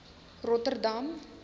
rotterdam